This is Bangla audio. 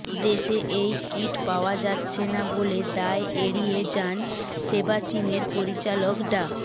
দেশে এই কিট পাওয়া যাচ্ছে না বলে দায় এড়িয়ে যান শেবাচিমের পরিচালক ডা